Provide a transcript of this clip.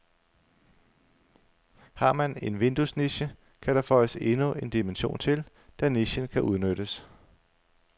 Har man en vinduesniche, kan der føjes endnu en dimension til, da nichen kan udnyttes.